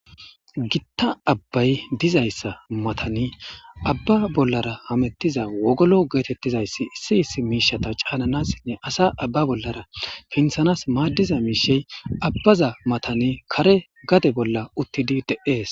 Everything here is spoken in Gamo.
Gita abbayi dizayisa matani Abba bolara hametiza wogolo getetizayisi issi issi mishata chananasi asa Abba bolara pinththanasiadiza mishsheyi abaza matani kare gade bola utidi deesi